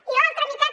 i l’altra meitat